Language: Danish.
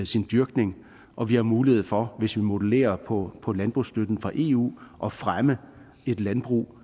sin dyrkning og vi har mulighed for hvis vi modellerer på på landbrugsstøtten fra eu at fremme et landbrug